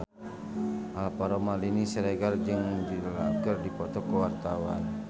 Alvaro Maldini Siregar jeung Jude Law keur dipoto ku wartawan